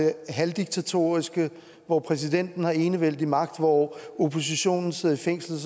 er halvdiktatoriske og hvor præsidenten har enevældig magt og oppositionen sidder i fængsel